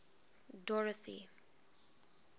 dorothy